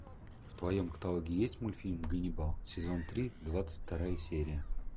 в твоем каталоге есть мультфильм ганнибал сезон три двадцать вторая серия